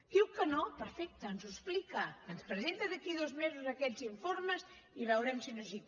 diu que no perfecte expliqui’ns ho ens presenta d’aquí a dos mesos aquests informes i veurem si no és així